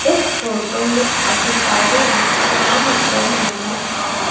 इस फोटो में अधिकारी विश्रामगृह नजर आ रहा--